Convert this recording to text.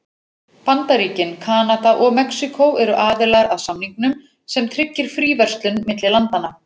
Bandaríkin, Kanada og Mexíkó eru aðilar að samningnum sem tryggir fríverslun milli landanna.